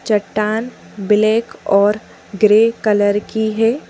चट्टान ब्लैक और grey colour की है।